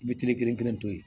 I bɛ kile kelen kelen to yen